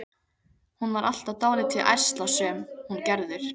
Hún var alltaf dálítið ærslasöm, hún Gerður.